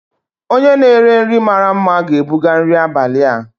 onye na-ere nri mara mma ga-ebuga nri abalị a.